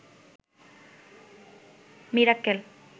Mirakkel